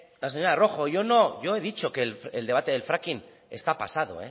la señora rojo yo he dicho que el debate del fracking está pasado